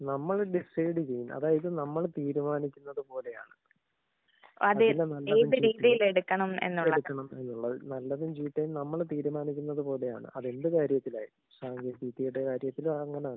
നമ്മള് ഡിസൈഡ് ചെയ്യുന്ന അതായത് നമ്മള് തീരുമാനിക്കുന്നത് പോലെയാണ്. അതെ അതിനെ നല്ല രീതിയിൽ എടുക്കണം എന്നുള്ളതാ. നല്ലതും ചീത്തയും നമ്മള് തീരുമാനിക്കുന്നത് പോലെയാണ്. അത് എന്ത് കാര്യത്തിലായാലും. അതായത് ചീത്തയുടെ കാര്യത്തിലും അത് അങ്ങനെ തന്നെ.